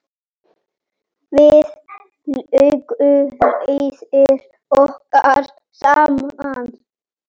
Víðar lágu leiðir okkar saman.